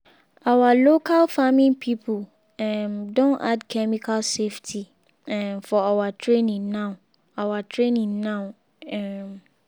our local farming people um don add chemical safety um for our training now. our training now. um